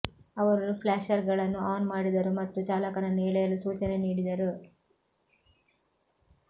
ಅವರು ಫ್ಲಾಷರ್ಗಳನ್ನು ಆನ್ ಮಾಡಿದರು ಮತ್ತು ಚಾಲಕನನ್ನು ಎಳೆಯಲು ಸೂಚನೆ ನೀಡಿದರು